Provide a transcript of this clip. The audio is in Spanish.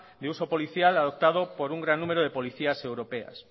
de uso policial adoptado por un gran número de policías europeas